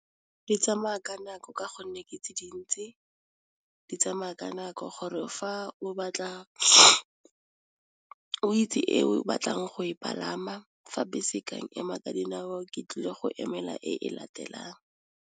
Di tsamaya ka nako ka gonne ke tse dintsi, di tsamaya ka nako gore fa o itse eo o batlang go e palama fa bese ka ema ka dinao ke tlile go emela e latelang.